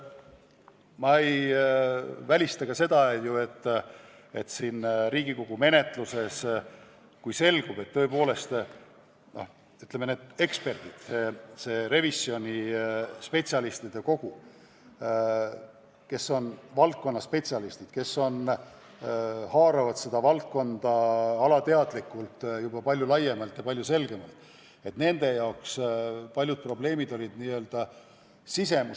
Ma ei välista ka seda, et Riigikogu menetluses tõepoolest selgub, et eksperdid, need revisjoni teinud oma valdkonna spetsialistid, kes haaravad seda valdkonda alateadlikult palju laiemalt ja palju selgemalt, ei osanud väga paljudele nüanssidele tähelepanu pöörata.